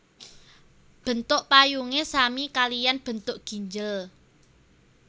Bentuk payungé sami kaliyan bentuk ginjel